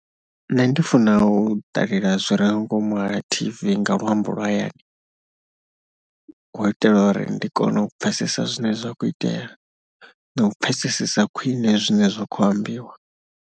Nṋe ndi funa u ṱalela zwi re nga ngomu ha T_V nga luambo lwa hayani, hu u itela uri ndi kone u pfhesesa zwine zwa khou itea na u pfhesesesa khwine zwine zwa kho ambiwa.